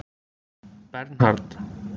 Bernhard